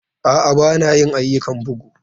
A'a, ba na yin ayyukan bugu.